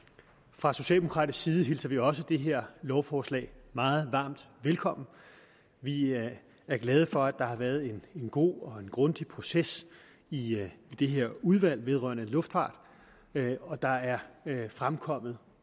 fra socialdemokratisk side hilser vi også det her lovforslag meget varmt velkommen vi er glade for at der har været en god og en grundig proces i det her udvalg vedrørende luftfart og der er fremkommet